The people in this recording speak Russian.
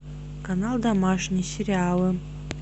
канал домашний сериалы